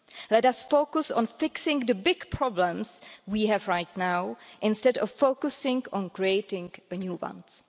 Let us focus on fixing the big problems we have right now instead of focusing on creating new ones.